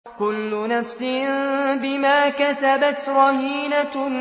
كُلُّ نَفْسٍ بِمَا كَسَبَتْ رَهِينَةٌ